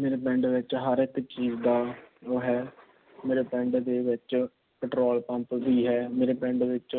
ਮੇਰੇ ਪਿੰਡ ਵਿੱਚ ਹਰ ਇੱਕ ਚੀਜ਼ ਦਾ ਉਹ ਹੈ। ਮੇਰੇ ਪਿੰਡ ਦੇ ਵਿੱਚ Petrol Pump ਵੀ ਹੈ। ਮੇਰੇ ਪਿੰਡ ਦੇ ਵਿੱਚ